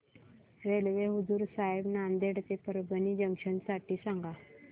railway Hazur Sahib Nanded ते Parbhani junction साठी सांगा